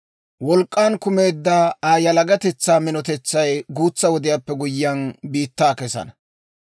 Wolk'k'an kumeedda Aa yalagatetsaa minotay guutsa wodiyaappe guyyiyaan, biittaa kesana.